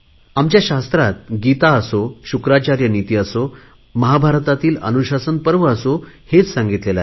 आमच्या शास्त्रात गीता असो शुक्राचार्य नीती असो महाभारतातील अनुशासन पर्व असो हेच सांगितलेले आहे